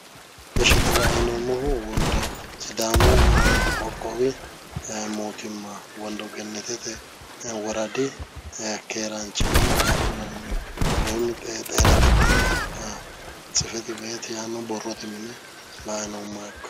ishshi xa la'ayi noommohu wondo sidaamu qoqqowi mootimma wondogenetete woradi keeraanchimma agadhanni woyim keeraanchimma agadhinanni xeena xibbeqa tsifeti beeti yaanno borrote mine la'ayi noommoha ikkanno